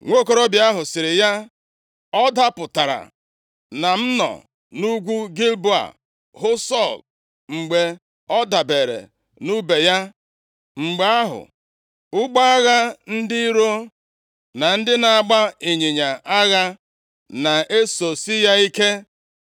Nwokorobịa ahụ sịrị ya, “Ọ dapụtara na m nọ nʼugwu Gilboa hụ Sọl mgbe ọ dabeere nʼùbe ya. Mgbe ahụ ụgbọ agha ndị iro na ndị na-agba ịnyịnya agha na-esosi ya ike.